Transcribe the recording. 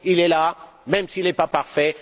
Il est là, même s'il n'est pas parfait.